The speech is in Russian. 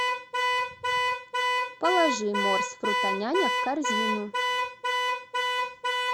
положи морс фрутоняня в корзину